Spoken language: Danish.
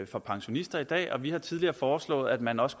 for pensionister i dag vi har tidligere foreslået at man også